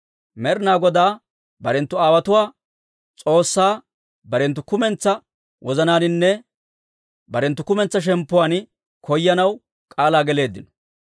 Med'inaa Godaa barenttu aawotuwaa S'oossaa barenttu kumentsaa wozanaaninne barenttu kumentsaa shemppuwaan koyanaw k'aalaa geleeddino.